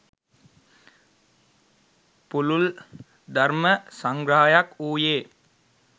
පුළුල් ධර්ම සංග්‍රහයක් වූයේ